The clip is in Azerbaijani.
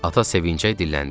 Ata sevincək dilləndi: